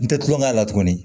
N tɛ tulonkɛ la tuguni